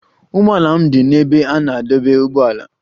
Ụgbọala m dị n'ebe a na-adọba ụgbọala